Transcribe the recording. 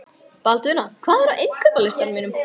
Baldvina, hvað er á innkaupalistanum mínum?